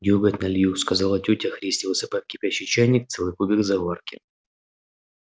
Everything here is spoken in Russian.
дёготь налью сказала тётя христя высыпая в кипящий чайник целый кубик заварки